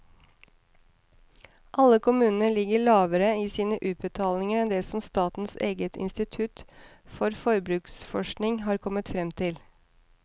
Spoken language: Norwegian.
Alle kommunene ligger lavere i sine utbetalinger enn det som statens eget institutt for forbruksforskning har kommet frem til.